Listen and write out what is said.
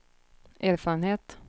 erfarenhet